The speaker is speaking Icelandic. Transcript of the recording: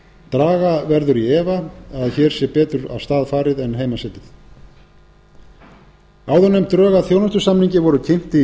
draga verður í efa að hér sé betur af stað farið en heima setið áðurnefnd drög að þjónustusamningi voru kynnt í